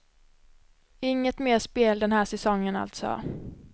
Inget mer spel den här säsongen alltså.